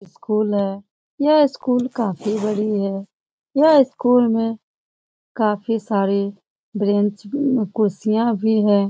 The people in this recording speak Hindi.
है। यह स्कूल काफ़ी बड़ी है यह स्कूल में काफ़ी सारी बेंच भी उम कुर्सियां भी हैं।